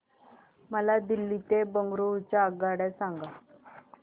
मला दिल्ली ते बंगळूरू च्या आगगाडया सांगा